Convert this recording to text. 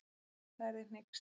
Það yrði hneyksli.